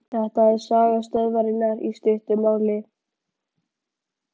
Þetta er saga stöðvarinnar í stuttu máli.